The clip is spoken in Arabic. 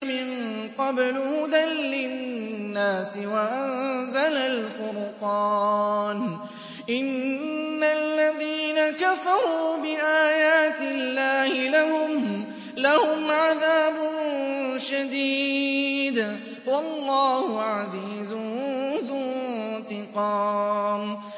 مِن قَبْلُ هُدًى لِّلنَّاسِ وَأَنزَلَ الْفُرْقَانَ ۗ إِنَّ الَّذِينَ كَفَرُوا بِآيَاتِ اللَّهِ لَهُمْ عَذَابٌ شَدِيدٌ ۗ وَاللَّهُ عَزِيزٌ ذُو انتِقَامٍ